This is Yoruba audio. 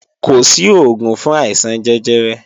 Kò sí òògùn fún àìsàn jẹjẹrẹ